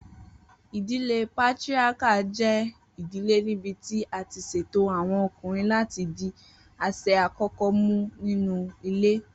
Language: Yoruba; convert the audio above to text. Idile Patriarchal jẹ idile nibiti a ti ṣeto awọn ọkunrin lati di aṣẹ akọkọ mu ninu ile.